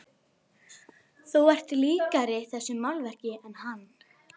Þú ert líkari þessu málverki en hann.